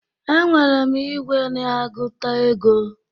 Enwere m igwe na-agụta ego